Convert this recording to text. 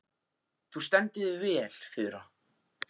Þú stendur þig vel, Fura!